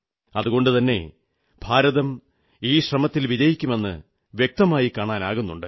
അതുകൊണ്ടു തന്നെ ഭാരതം ഈശ്രമത്തിൽ വിജയിക്കുമെന്ന് വ്യക്തമായി കാണാനാകുന്നുണ്ട്